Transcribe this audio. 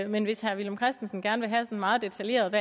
men hvis herre villum christensen gerne vil have en meget detaljeret